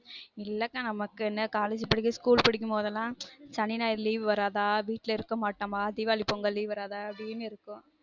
இல்லக்கா நமக்குனு college படிக்கும் school படிக்கும் போது எல்லான் சனி ஞாயிறு leave வராத வீட்ல இருக்க மாட்டமா தீவாளி பொங்கல் leave வராதா அப்டினு இருக்கும்